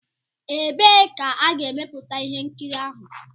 Ebee ka a ga-emeputa ihe nkiri ahụ?